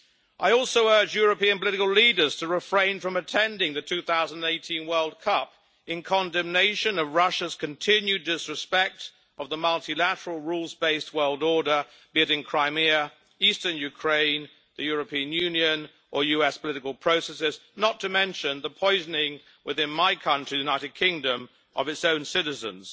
I also urge European political leaders to refrain from attending the 2018 World Cup in condemnation of Russia's continued disrespecting of the multilateral, rules based world order, be it in Crimea, eastern Ukraine, the European Union or US political processes not to mention the poisoning, within my country, the United Kingdom, of its own citizens.